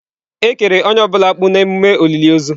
Ekere onye ọ bụla na akpu na emume olili ozu.